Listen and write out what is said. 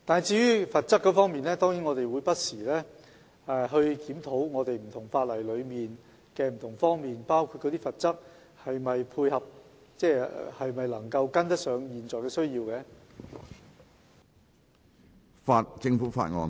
至於罰則方面，我們當然會不時檢討不同法例的各個方面，包括罰則是否能跟上現時的需要。